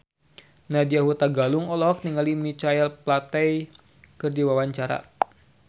Nadya Hutagalung olohok ningali Michael Flatley keur diwawancara